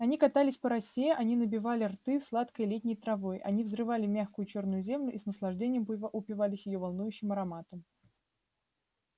они катались по росе они набивали рты сладкой летней травой они взрывали мягкую чёрную землю и с наслаждением упивались её волнующим ароматом